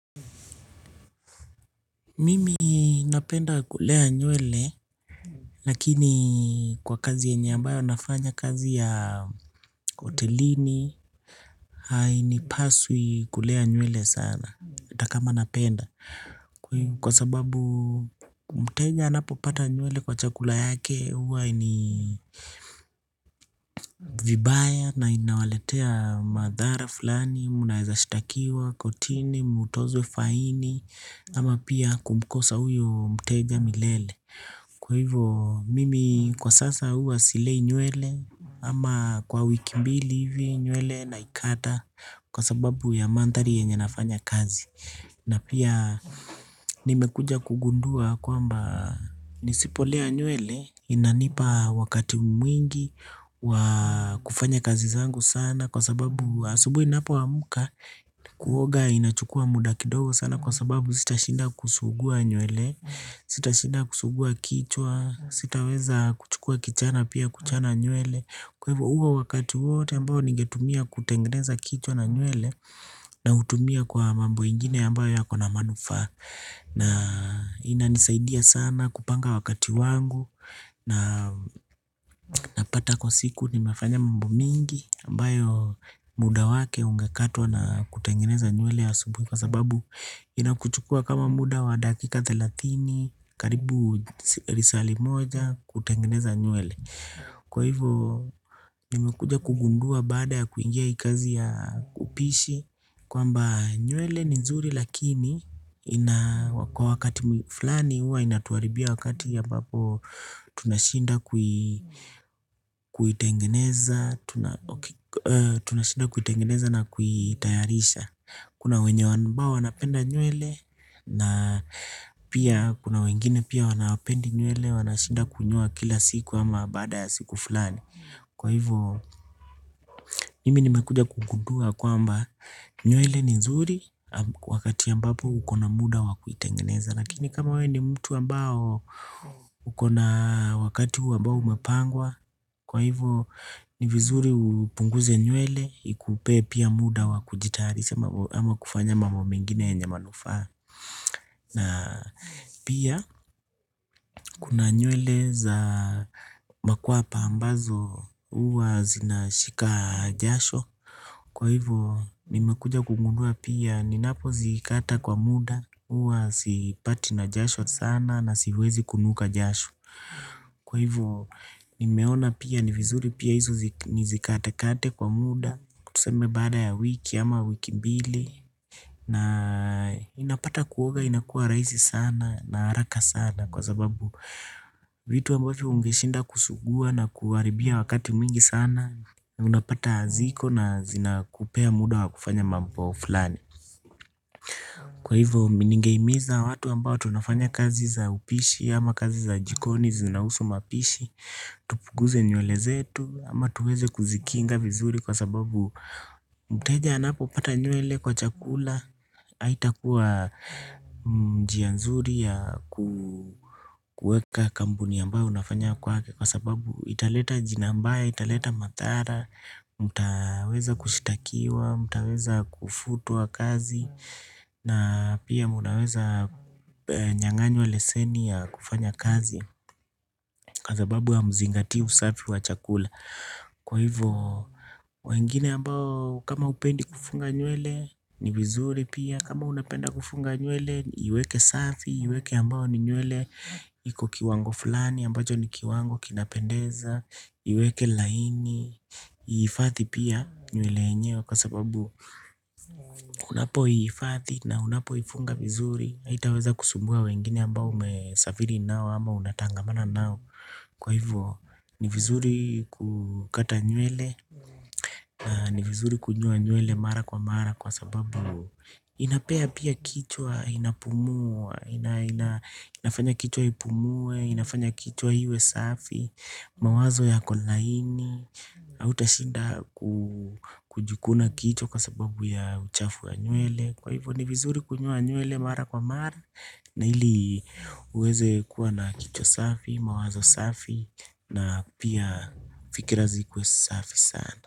Mimi napenda kulea nywele, lakini kwa kazi yenye ambayo nafanya kazi ya hotelini, hainipaswi kulea nywele sana, hata kama napenda, kwa sababu mteja anapopata nywele kwa chakula yake, huwa ni vibaya na inawaletea madhara fulani, mnaeza shtakiwa, kotini, mtozwe, faini, ama pia kumkosa huyo mteja milele. Kwa hivyo mimi kwa sasa huwa silei nywele ama kwa wiki mbili hivi nywele naikata kwa sababu ya manthari yenye nafanya kazi. Na pia nimekuja kugundua kwamba nisipolea nywele inanipa wakati mwingi wa kufanya kazi zangu sana. Kwa sababu asubuhi ninapoamka kuoga inachukua muda kidogo sana kwa sababu sitashinda kusugua nywele. Sitashida kusugua kichwa, sitaweza kuchukua kichana pia kuchana nywele. Kwa hivo huo wakati wote ambao ningetumia kutengeneza kichwa na nywele. Nautumia kwa mambo ingine ambayo yako na manufaa. Na inanisaidia sana kupanga wakati wangu. Napata kwa siku nimefanya mambo mingi ambayo muda wake ungekatwa na kutengeneza nywele asubuhi. Kwa sababu inakuchukua kama muda wa dakika thelathini karibu lisali moja kutengeneza nywele. Kwa hivyo nimekuja kugundua baada ya kuingia hii kazi ya upishi kwamba nywele ni nzuri lakini ina kwa wakati flani huwa inatuharibia wakati ambapo tunashinda kuitengeneza na kuitayarisha. Kuna wenye ambao wanapenda nywele na pia kuna wengine pia wanapendi nywele. Wanashinda kunyoa kila siku ama baada siku fulani. Kwa hivyo, nimi nimekuja kugundua kwamba nywele ni nzuri wakati ambapo uko na muda wa kuitengeneza. Lakini kama wewe ni mtu ambao uko na wakati ambao umepangwa. Kwa hivyo ni vizuri upunguze nywele ikupe pia muda wa kujitayarisha ama kufanya mambo mengine yenye manufaa. Na pia kuna nywele za makwapa ambazo huwa zinashika jasho. Kwa hivyo nimekuja kugundua pia ninapozikata kwa muda huwa sipatwi na jasho sana na siwezi kunuka jasho. Kwa hivyo nimeona pia ni vizuri pia hizo nizikatekate kwa muda tuseme baada ya wiki ama wiki mbili. Na inapata kuoga inakua rahisi sana na haraka sana. Kwa sababu vitu ambavyo ungeshinda kusugua na kuharibia wakati mwingi sana. Unapata ziko na zinakupea muda wa kufanya mambo fulani. Kwa hivyo mimi ningehimiza watu ambao tunafanya kazi za upishi ama kazi za jikoni zinahusu mapishi tupuguze nywele zetu ama tuweze kuzikinga vizuri kwa sababu mteja anapopata nywele kwa chakula haitakuwa njia nzuri ya kueka kampuni ambayo unafanya kwake. Kwa sababu italeta jina mbaya italeta mathara. Mtaweza kushtakiwa, mtaweza kufutwa kazi. Na pia mnaweza nyang'anywa leseni ya kufanya kazi. Kwa sababu hamzingatii usafi wa chakula. Kwa hivyo wengine ambao kama hupendi kufunga nywele ni vizuri pia. Kama unapenda kufunga nywele iweke safi. Iweke ambao ni nywele iko kiwango fulani ambacho ni kiwango kinapendeza. Iweke laini ihifadhi pia nywele yenyewe. Kwa sababu unapoihifadhi na unapoifunga vizuri haitaweza kusumbua wengine ambao umesafiri nao ama unatangamana nao. Kwa hivyo ni vizuri kukata nywele, ni vizuri kunyoa nywele mara kwa mara kwa sababu inapea pia kichwa inapumua, inafanya kichwa ipumue, inafanya kichwa iwe safi, mawazo yako laini, hautashinda kujikuna kichwa kwa sababu ya uchafu ya nywele. Kwa hivyo ni vizuri kunyoa nywele mara kwa mara. Na ili uweze kuwa na kichwa safi, mawazo safi. Na pia fikira zikuwe safi sana.